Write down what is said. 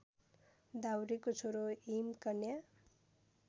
दाउरेको छोरो हिमकन्या